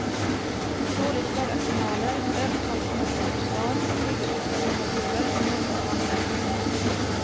Dåligt förda journaler, övertolkning av provsvar och ovetenskapliga metoder är några av anmärkningarna.